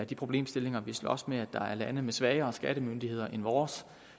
de problemstillinger vi slås med at der er lande med svagere skattemyndigheder end vores